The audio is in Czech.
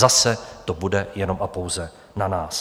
Zase to bude jenom a pouze na nás.